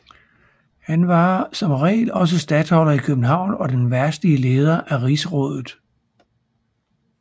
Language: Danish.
Han var som regel også statholder i København og den verdslige leder af rigsrådet